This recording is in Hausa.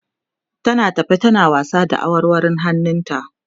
tana tafe tana wasa da awarwarun hannun ta